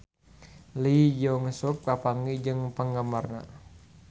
Lee Jeong Suk papanggih jeung penggemarna